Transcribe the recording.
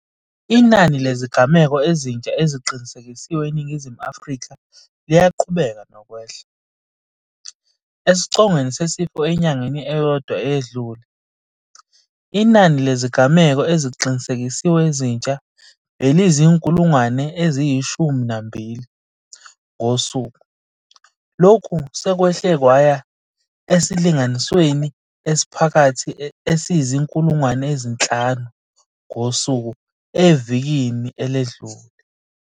Inani lezigameko ezintsha eziqinisekisiwe eNingizimu Afrika liyaqhubeka nokwehla. Esicongweni sesifo enyangeni eyodwa eyedlule, inani lezigameko eziqinise kisiwe ezintsha beliyizi-12 000 ngosuku. Lokhu sekwehle kwaya esilinganisweni esiphakathi esiyizi-5 000 ngosuku evikini eledlule.